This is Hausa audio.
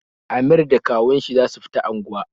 Amir da kawun shi za su fita angwa